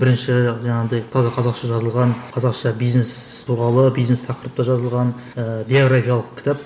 бірінші жаңағындай таза қазақша жазылған қазақша бизнес туралы бизнес тақырыпта жазылған ыыы биографиялық кітап